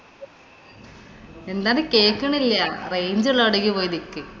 എന്താണ് കേക്കണില്ല. range ഉള്ള എവിടെങ്കി പോയ്‌ നിക്ക്.